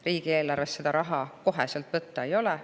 Riigieelarvest seda raha kohe võtta ei ole.